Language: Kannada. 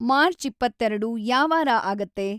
ಮಾರ್ಚ್‌ ಇಪ್ಪತ್ತೆರ್ಡು ಯಾವಾರ ಆಗತ್ತೆ